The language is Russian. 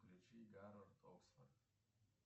включи гарвард оксфорд